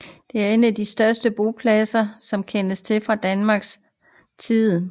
Det er en af de største bopladser som kendes fra Danmark fra denne tid